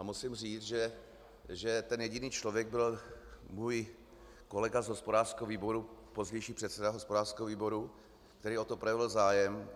A musím říct, že ten jediný člověk byl můj kolega z hospodářského výboru, pozdější předseda hospodářského výboru, který o to projevil zájem.